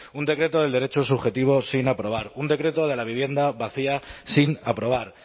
un decreto del derecho subjetivo sin aprobar un decreto de la vivienda vacía sin aprobar